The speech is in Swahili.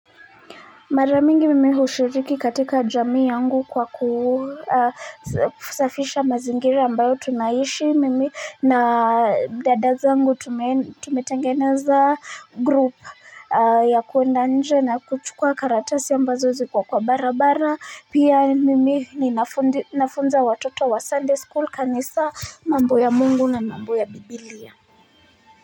Mara mingi mimi hushiriki katika jamii yangu kwa kusafisha mazingira ambayo tunaishi mimi na dada zangu tumetengeneza group ya kwenda nje na kuchukua karatasi ambazo ziko kwa barabara pia mimi ninafunza watoto wa sunday school kanisa mambo ya mungu na mambo ya bibilia.